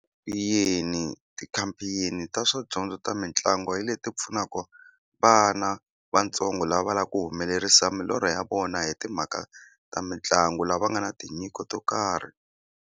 ti-campaign ta swadyondzo ta mitlangu hi leti pfunaka vana vatsongo lava lavaka ku humelerisa milorho ya vona hi timhaka ta mitlangu lava nga na tinyiko to karhi.